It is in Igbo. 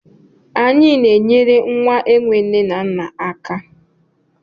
Anyị na-enyere nwa enwe nne na nna aka.